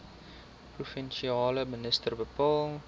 provinsiale minister bepaal